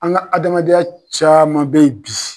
An ka adamadenya caman bɛ yen bi.